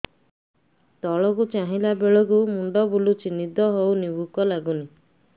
ତଳକୁ ଚାହିଁଲା ବେଳକୁ ମୁଣ୍ଡ ବୁଲୁଚି ନିଦ ହଉନି ଭୁକ ଲାଗୁନି